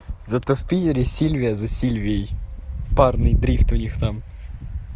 зато в пийере сильвия за сильвией парный дрифт у них там